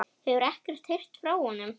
Hefurðu ekkert heyrt frá honum?